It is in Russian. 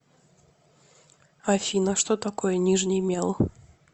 афина что такое нижний мел